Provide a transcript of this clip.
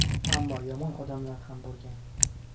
Ammo yomon odamlar ham bo‘lgan.